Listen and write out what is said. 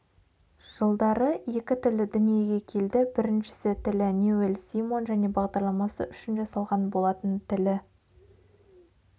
жылдары екі тілі дүниеге келді біріншісі тілі ньюэлл симон және бағдарламасы үшін жасалған болатын тілі